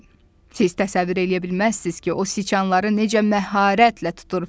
Siz təsəvvür eləyə bilməzsiz ki, o siçanları necə məharətlə tutur.